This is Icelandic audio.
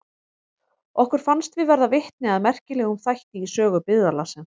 Okkur fannst við verða vitni að merkilegum þætti í sögu byggðarlagsins.